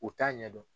U t'a ɲɛdɔn